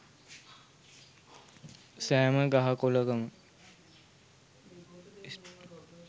සෑම ගහ කොළකම